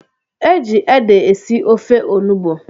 E ji ede esi ofe onugbo